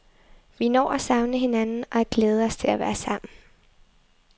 Vi når at savne hinanden og at glæde os til at være sammen.